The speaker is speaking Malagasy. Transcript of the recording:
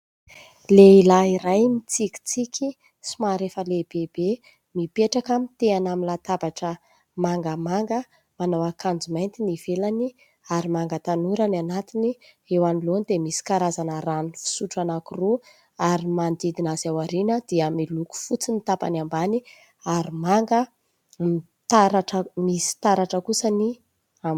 Lehilahy iray mitsikitsiky somary efa lehibebe mipetraka mitehana amin'ny latabatra mangamanga, manao akanjo mainty ny ivelany ary manga tanora ny anatiny. Eo anoloany dia misy karazana rano fisotro anankiroa ary manodidina azy ao aoriana dia miloko fotsy ny tapany ambany ary manga taratra misy taratra kosa.